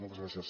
moltes gràcies